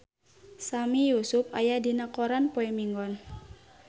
Sami Yusuf aya dina koran poe Minggon